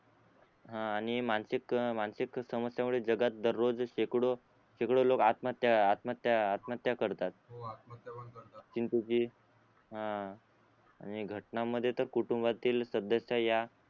हा आणि मानसिक मानसिक समस्ये मुळे जगात दररोज शेकडो शेकडो लोक आत्महत्या आत्महत्या आत्महत्या करतात हो आत्महत्या पण करतात किंतु की अं आणि घटनांमध्ये तर कुटुंबातील सदस्य या